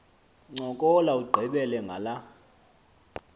ncokola ugqibele ngala